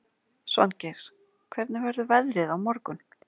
Svangeir, hvernig verður veðrið á morgun?